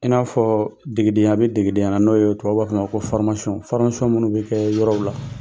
I n'a fɔɔ degedenya be degedenya la n'o yee tubabuw b'a f'ɔ ma ko , minnu be kɛ yɔrɔw la.